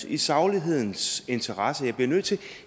i saglighedens interesse bliver nødt til